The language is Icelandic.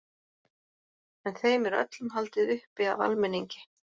En þeim er öllum haldið uppi af almenningi.